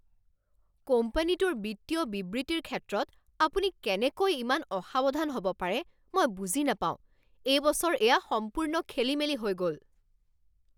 কোম্পানীটোৰ বিত্তীয় বিবৃতিৰ ক্ষেত্ৰত আপুনি কেনেকৈ ইমান অসাৱধান হ'ব পাৰে মই বুজি নাপাওঁ। এই বছৰ এয়া সম্পূৰ্ণ খেলিমেলি হৈ গ'ল।